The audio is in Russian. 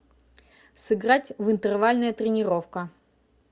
сыграть в интервальная тренировка